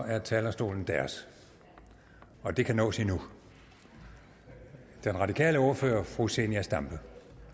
er talerstolen deres det kan nås endnu den radikale ordfører fru zenia stampe